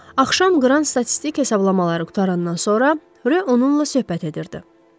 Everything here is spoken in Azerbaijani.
Axşam Qran statistik hesablamaları qurtarandan sonra Rö onunla söhbət edirdi.